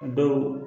Dɔw